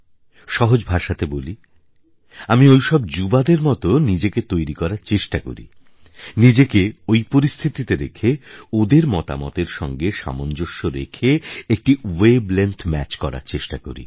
সহজ ভাষাতে বলি আমি ওই সব যুবাদের মতো নিজেকে তৈরি করার চেষ্টা করি নিজেকে ওই পরিস্থিতিতে রেখে ওদের মতামতের সঙ্গে সামঞ্জস্য রেখে একটি ওয়েভ লেংথ ম্যাচ করার চেষ্টা করি